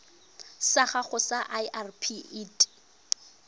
sa gago sa irp it